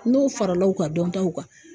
N'o farala u ka dɔntaw kan.